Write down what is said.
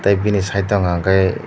bini side o hwnka khai.